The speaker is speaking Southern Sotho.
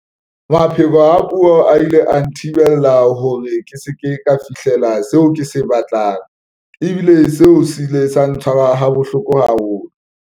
Mapheko a puo a ile a nthibela hore ke se ke ka fihlela seo ke se batlang, ebile seo se ile sa ntshwara ha bohloko haholo.